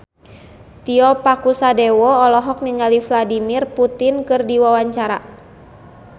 Tio Pakusadewo olohok ningali Vladimir Putin keur diwawancara